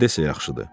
Nə desə yaxşıdır?